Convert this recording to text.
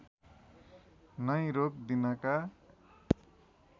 नै रोक दिनका